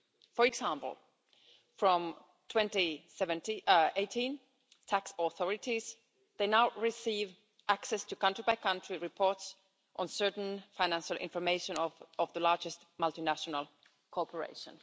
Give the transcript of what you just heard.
For example, from 2018, tax authorities now receive access to country by country reports on certain financial information of the largest multinational corporation.